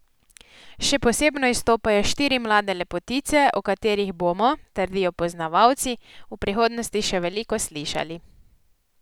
Še posebno izstopajo štiri mlade lepotice, o katerih bomo, trdijo poznavalci, v prihodnosti še veliko slišali.